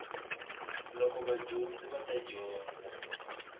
loko vadyondzi va ta dyondza